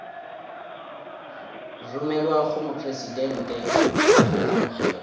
romelwa go mopresidente go amogelwa